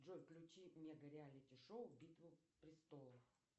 джой включи мега реалити шоу битва престолов